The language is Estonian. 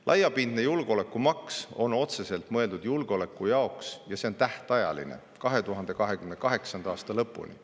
Laiapindne julgeolekumaks on otseselt mõeldud julgeoleku jaoks ja see on tähtajaline, 2028. aasta lõpuni.